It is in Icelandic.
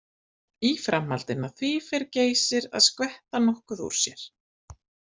Í framhaldinu af því fer Geysir að skvetta nokkuð úr sér.